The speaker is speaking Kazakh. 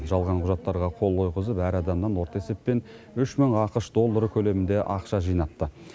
жалған құжаттарға қол қойғызып әр адамнан орта есеппен үш мың ақш доллары көлемінде ақша жинапты